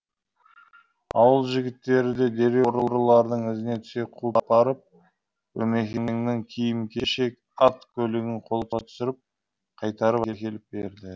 ауыл жігіттері де дереу ұрылардың ізіне түсе қуып барып өмекеңнің киім кешек ат көлігін қолға түсіріп қайтарып әкеліп береді